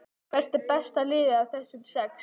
Hvert er besta liðið af þessum sex?